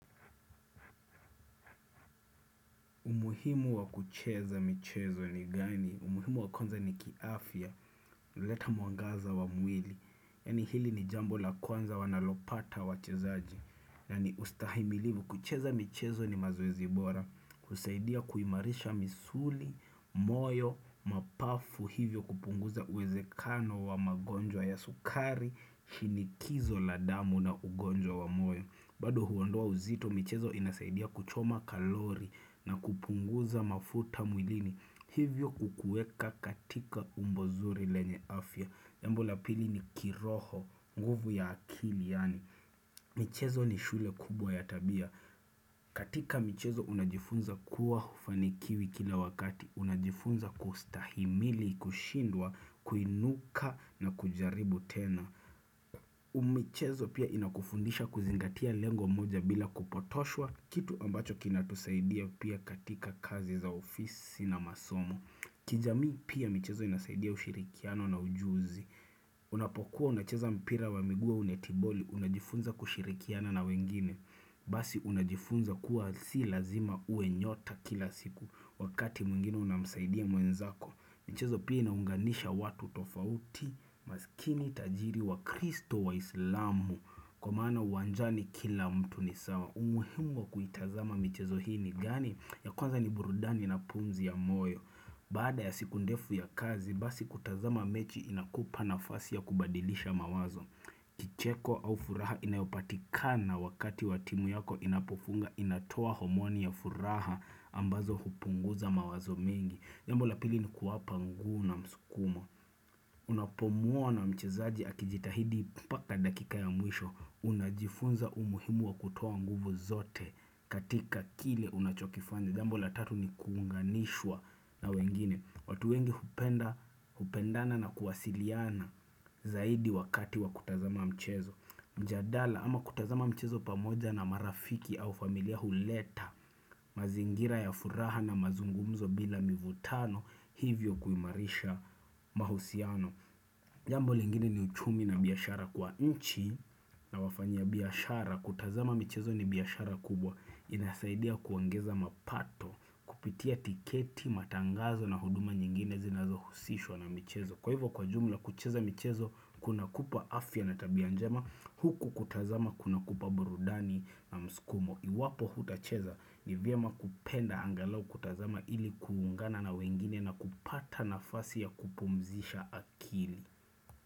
Umuhimu wa kucheza michezo ni gani? Umuhimu wa kwanza ni kiafya, huleta mwangaza wa mwili. Yaani hili ni jambo la kwanza wanalopata wachezaji. Na ni ustahimilivu, kucheza michezo ni mazoezi bora. Kusaidia kuimarisha misuli, moyo, mapafu hivyo kupunguza uwezekano wa magonjwa ya sukari, shinikizo la damu na ugonjwa wa moyo. Bado huondoa uzito, michezo inasaidia kuchoma kalori na kupunguza mafuta mwilini. Hivyo kukueka katika umbo zuri lenye afya. Jambo la pili ni kiroho, nguvu ya akili yaani. Michezo ni shule kubwa ya tabia. Katika michezo unajifunza kuwa hufanikiwi kila wakati. Unajifunza kustahimili, kushindwa, kuinuka na kujaribu tena. Michezo pia inakufundisha kuzingatia lengo moja bila kupotoshwa Kitu ambacho kinatusaidia pia katika kazi za ofisi na masomo kijamii pia michezo inasaidia ushirikiano na ujuzi Unapokuwa unacheza mpira wa miguu au netiboli Unajifunza kushirikiana na wengine Basi unajifunza kuwa si lazima uwe nyota kila siku Wakati mwingine unamsaidia mwenzako michezo pia inaunganisha watu tofauti maskini tajiri wa kristo waislamu Kwa maana uwanjani kila mtu ni sawa umuhimu wa kuitazama michezo hii ni gani ya kwanza ni burudani na pumzi ya moyo Baada ya siku ndefu ya kazi Basi kutazama mechi inakupa nafasi ya kubadilisha mawazo Kicheko au furaha inayopatikana wakati wa timu yako inapofunga inatoa homoni ya furaha ambazo hupunguza mawazo mingi Jambo la pili ni kuwapa ngu na msukumo Unapomuona mchezaji akijitahidi mpaka dakika ya mwisho Unajifunza umuhimu wa kutoa nguvu zote katika kile unachokifanya jambo la tatu ni kuunganishwa na wengine watu wengi hupenda hupendana na kuwasiliana zaidi wakati wa kutazama mchezo mjadala ama kutazama mchezo pamoja na marafiki au familia huleta mazingira ya furaha na mazungumzo bila mivutano hivyo kuimarisha mahusiano jambo lingine ni uchumi na biashara kwa nchi na wafanya biashara kutazama michezo ni biashara kubwa inasaidia kuongeza mapato kupitia tiketi, matangazo na huduma nyingine zinazohusishwa na michezo kwa hivyo kwa jumla kucheza michezo kunakupa afya na tabia njema huku kutazama kunakupa burudani na mskumo iwapo hutacheza nivyema kupenda angalau kutazama ili kuungana na wengine na kupata nafasi ya kupumzisha akili.